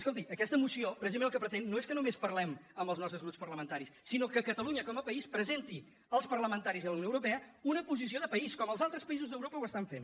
escolti aquesta moció precisament el que pretén no és que només parlem amb els nostres grups parlamentaris sinó que catalunya com a país presenti als parlamentaris i a la unió europea una posició de país com els altres països d’europa ho estan fent